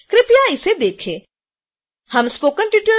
कृपया इसे देखें